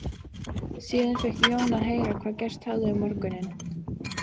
Síðan fékk Jón að heyra hvað gerst hafði um morguninn.